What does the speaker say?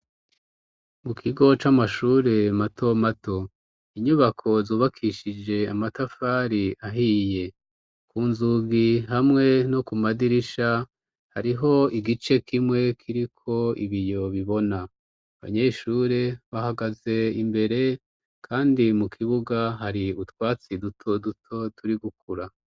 Mu kigo c'amashuri matomato, inyubako zubakishije amatafari ahiye ku nzugi hamwe no ku madirisha hariho igice kimwe kiriko ibiyo bibona. Abanyeshure bahagaze imbere kandi mu kibuga hari utwatsi duto duto turi gukura.